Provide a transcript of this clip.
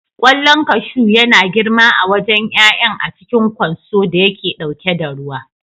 Ƙwallon kashu yana girma a wajen ƴaƴan a cikin ƙwanso da yake ɗauke da ruwa.